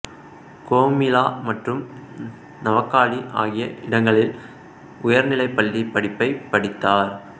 கோமிலா மற்றும் நவகாளி ஆகிய இடங்களில் உயர்நிலைப் பள்ளிப் படிப்பை படித்தார்